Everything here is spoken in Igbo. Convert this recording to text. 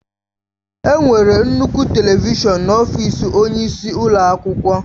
Enwere nnukwu telivishọn n'ọfịs onyeisi ụlọ akwụkwọ.